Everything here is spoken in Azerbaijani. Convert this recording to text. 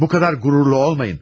Bu qədər qürurlu olmayın.